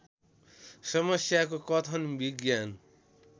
समस्याको कथन विज्ञान